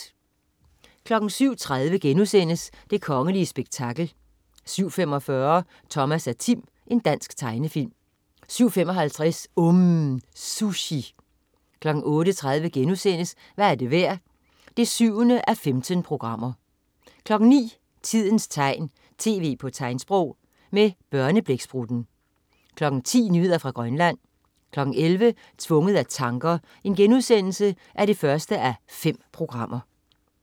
07.30 Det kongelige spektakel* 07.45 Thomas og Tim. Dansk tegnefilm 07.55 UMM. Sushi 08.30 Hvad er det værd? 7:15* 09.00 Tidens tegn, tv på tegnsprog. Med Børneblæksprutten 10.00 Nyheder fra Grønland 11.00 Tvunget af tanker 1:5*